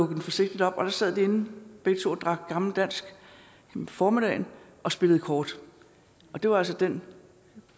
den forsigtigt op og der sad de inde begge to og drak gammel dansk om formiddagen og spillede kort det var altså den